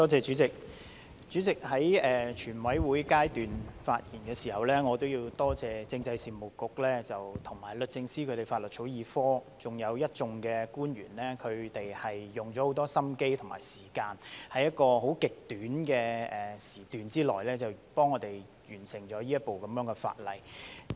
主席，在全體委員會審議階段發言時，我要多謝政制及內地事務局和律政司法律草擬科，還有一眾官員花了很多心機和時間，在極短的時段內替我們完成這項法例。